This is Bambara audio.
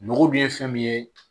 Nogo dun ye fɛn min ye